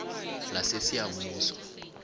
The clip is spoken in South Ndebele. lasesiyabuswa